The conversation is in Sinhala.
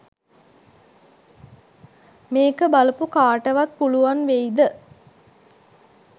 මේක බලපු කාටවත් පුලුවන් වෙයිද